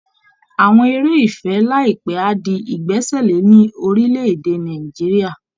Àwọn eré ìfẹ́ láìpẹ́ á di ìgbẹ́sẹ̀lé ní orílẹ̀ èdè Nàìjíríà